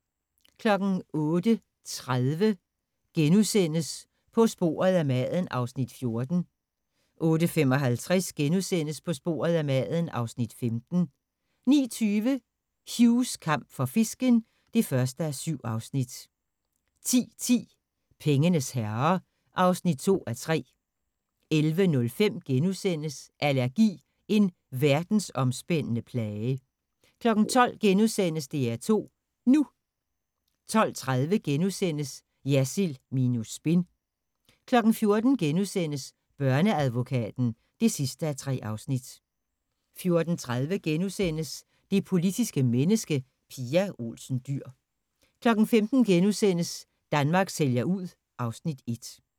08:30: På sporet af maden (Afs. 14)* 08:55: På sporet af maden (Afs. 15)* 09:20: Hughs kamp for fisken (1:7) 10:10: Pengenes herrer (2:3) 11:05: Allergi – en verdensomspændende plage * 12:00: DR2 NU * 12:30: Jersild minus spin * 14:00: Børneadvokaten (3:3)* 14:30: Det politiske menneske – Pia Olsen Dyhr * 15:00: Danmark sælger ud (Afs. 1)*